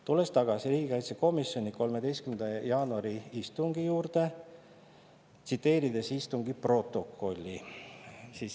Tulen tagasi riigikaitsekomisjoni 13. jaanuari istungi juurde ja istungi protokolli.